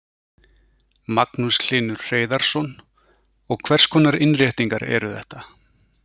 Magnús Hlynur Hreiðarsson: Og hvers konar innréttingar eru þetta?